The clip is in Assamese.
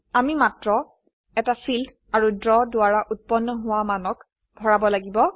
আমি মাত্ৰ একােটা ফিল্ড আৰু ড্ৰ দ্ৱাৰা উৎপন্ন হোৱা মানক ভৰাব লাগিব